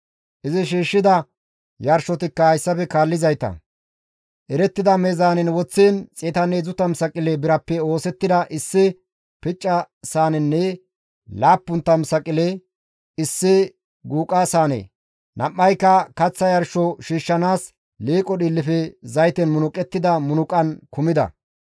Izi shiishshida yarshotikka hayssafe kaallizayta, erettida meezaanen woththiin 130 saqile birappe oosettida issi picca saanenne 70 saqile issi guuqa saane, nam7ayka kaththa yarsho shiishshanaas liiqo dhiillefe zayten munuqettida munuqan kumida.